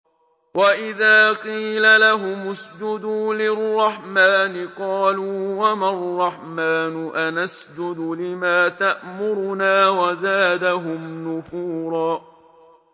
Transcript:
وَإِذَا قِيلَ لَهُمُ اسْجُدُوا لِلرَّحْمَٰنِ قَالُوا وَمَا الرَّحْمَٰنُ أَنَسْجُدُ لِمَا تَأْمُرُنَا وَزَادَهُمْ نُفُورًا ۩